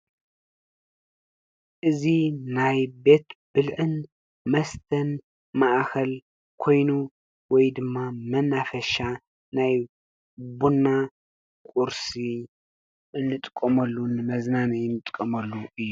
ናይ ቤት ብልዕን መስተን መናፈሻ ኮይና ወይ ድማ ቡና ኩርሲ እንጥቀመሉ መዝናነይ እእንጥቀመሉ እዩ።